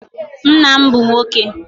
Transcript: Nna m bụ nwoke